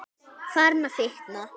Farin að fitna.